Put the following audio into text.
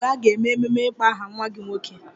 Olee mgbe a ga-eme ememe ịkpọ aha nwa gị nwoke?